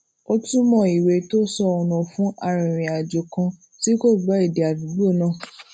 ó túmò ìwé tó sọ ònà fún arìnrìnàjò kan tí kò gbó èdè àdúgbò náà